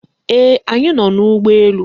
Ee, anyị nọ n'ụgbọ elu.